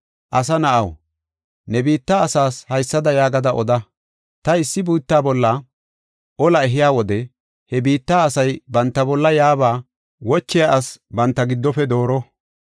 “Asa na7aw, ne biitta asaas haysada yaagada oda: ‘Ta issi biitta bolla olaa ehiya wode he biitta asay banta bolla yaaba wochiya asi dooro banta giddofe dooro.